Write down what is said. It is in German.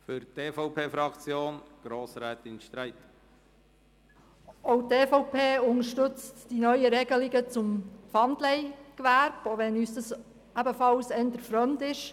Auch die EVP unterstützt die neuen Regelungen zum Pfandleihgewerbe, auch wenn es uns eher fremd ist.